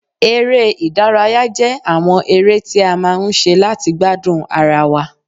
Eré ìdárayá jẹ́ àwọn eré tí a máa ń ṣe láti gbádùn ara wa